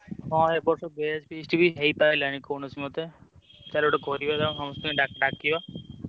ହଁ ଏ ବର୍ଷ batch feast ବି ହେଇପାଇଲାନି କୌଣସି ମତେ। ଚାଲ ଗୋଟେ କରିବା ତାଙ୍କ ସମସ୍ତିଙ୍କୁ ~ଡା ଡାକିବା।